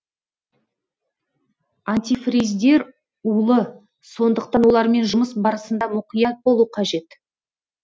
антифриздер улы сондықтан олармен жұмыс барысында мұқият болу қажет